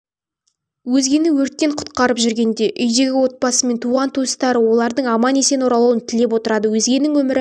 өзгені өрттен құтқарып жүргенде үйдегі отбасы мен туған-туыстары олардың аман-есен оралуын тілеп отырады өзгенің өмірі